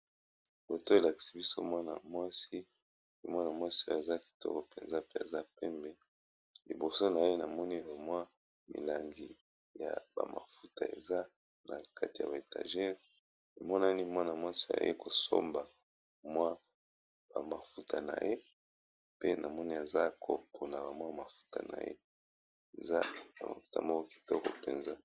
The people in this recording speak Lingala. Photo elakisi biso muana muasi, mwasi oyo azali kitoko penza, pe liboso naye namoni milangi ébélé ya mafuta